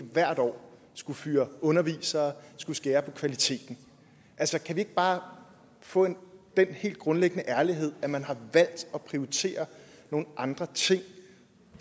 hvert år skulle fyre undervisere skulle skære ned på kvaliteten altså kan vi ikke bare få den helt grundlæggende ærlighed at man har valgt at prioritere nogle andre ting og